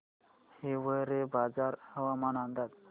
हिवरेबाजार हवामान अंदाज